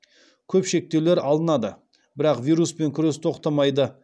көп шектеулер алынады бірақ вируспен күрес тоқтамайды